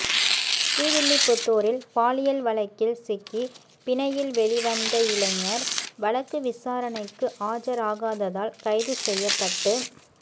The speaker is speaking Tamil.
ஸ்ரீவில்லிபுத்தூரில் பாலியல் வழக்கில் சிக்கி பிணையில் வெளி வந்த இளைஞா் வழக்கு விசாரணைக்கு ஆஜராகாததால் கைது செய்யப்பட்டு